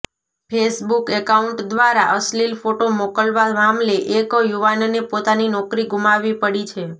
Facebook account દ્વારા અશ્લિલ photo મોકલવા મામલે એક યુવાનને પોતાની નોકરી ગુમાવી પડી છે